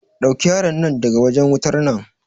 Ɗauke yaron nan daga wajen wutar nan.